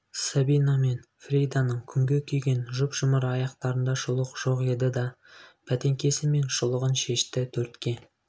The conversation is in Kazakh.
сабина мен фриданың күнге күйген жұп-жұмыр аяқтарында шұлық жоқ еді да бәтеңкесі мен шұлығын шешті төртке